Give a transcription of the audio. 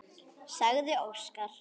sagði Óskar.